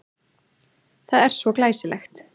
Það er svo glæsilegt.